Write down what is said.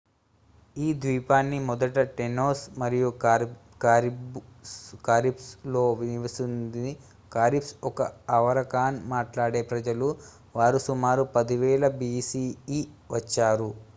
ఈ ద్వీపాన్ని మొదట టేనోస్ మరియు కారిబ్స్ లు నివసిస్తుంది కరిబ్స్ ఒక ఆరావకాన్ మాట్లాడే ప్రజలు వారు సుమారు 10,000 bce వచ్చారు